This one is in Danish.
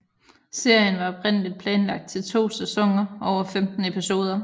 Serien var oprindeligt planlagt til to sæsoner over 15 episoder